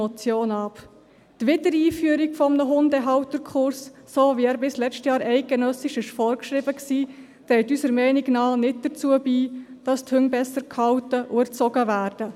Die Wiedereinführung eines Hundehalterkurses, so wie er bis letztes Jahr eidgenössisch vorgeschrieben war, trägt unseres Erachtens nicht dazu bei, dass die Hunde besser gehalten und erzogen werden.